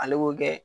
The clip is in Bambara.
Ale b'o kɛ